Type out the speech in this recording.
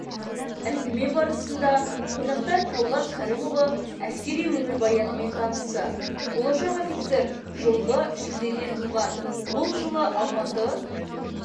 әңгіме барысында қонақтар талғат кәрімұлы әскери өмірбаянымен танысты болашақ офицер жылғы шілдеде туған ол жылы алматы